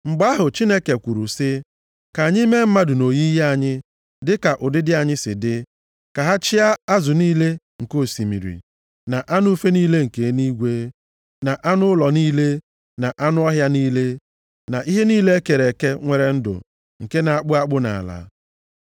Mgbe ahụ, Chineke kwuru sị, “Ka anyị mee mmadụ nʼoyiyi anyị, dịka ụdịdị anyị si dị, ka ha chịa azụ niile nke osimiri, na anụ ufe niile nke eluigwe, na anụ ụlọ niile, na anụ ọhịa niile, na ihe niile e kere eke nwere ndụ nke na-akpụ akpụ nʼala.”